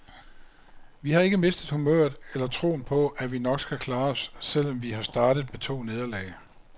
Vi har ikke mistet humøret eller troen på, at vi nok skal klare os, selv om vi har startet med to nederlag.